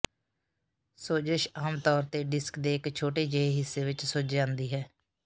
ਸੋਜਸ਼ ਆਮ ਤੌਰ ਤੇ ਡਿਸਕ ਦੇ ਇੱਕ ਛੋਟੇ ਜਿਹੇ ਹਿੱਸੇ ਵਿੱਚ ਸੁੱਜ ਜਾਂਦੀ ਹੈ